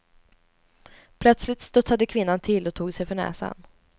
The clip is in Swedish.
Plötsligt studsade kvinnan till och tog sig för näsan.